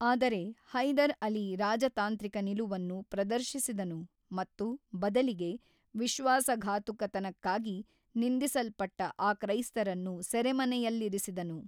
ಆದರೆ ಹೈದರ್ ಅಲಿ ರಾಜತಾಂತ್ರಿಕ ನಿಲುವನ್ನು ಪ್ರದರ್ಶಿಸಿದನು ಮತ್ತು ಬದಲಿಗೆ ವಿಶ್ವಾಸಘಾತುಕತನಕ್ಕಾಗಿ ನಿಂದಿಸಲ್ಪಟ್ಟ ಆ ಕ್ರೈಸ್ತರನ್ನು ಸೆರೆಮನೆಯಲ್ಲಿರಿಸಿದನು.